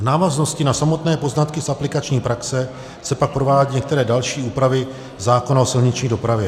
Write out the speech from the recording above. V návaznosti na samotné poznatky z aplikační praxe se pak provádějí některé další úpravy zákona o silniční dopravě.